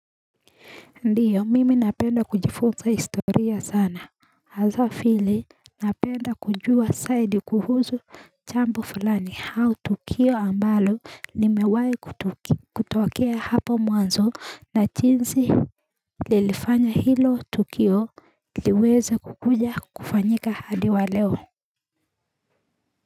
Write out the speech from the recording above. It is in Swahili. Ndiyo, mimi napenda kujifunza historia sana, hasaa vile napenda kujua zaidi kuhusu jampo fulani au tukio ambalo nimewahi kutokea hapo mwanzo na jinsi lilifanya hilo tukio liweze kukuja kufanyika hadi wa leo.